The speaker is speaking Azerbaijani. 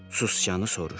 Sicanı soruşdu.